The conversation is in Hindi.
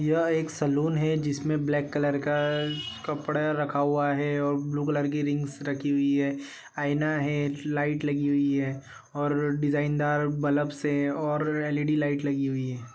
यह एक सैलून है जिसमे ब्लैक कलर का कपड़े रखा हुआ है और ब्लू कलर की रिंग्स रखी हुई है आईना है लाइट लगी हुई है और डिजाइनरदार बल्ब से और एल_ई_डी लाइट लगी हुई है।